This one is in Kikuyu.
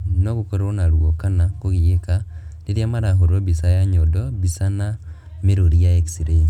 No gũkorwo na ruo kana kũgiĩka rĩrĩa marahũrwo mbica ya nyondo mbica na mĩrũri ya x-ray